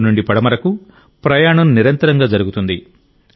తూర్పు నుండి పడమరకు ప్రయాణం నిరంతరం జరుగుతుంది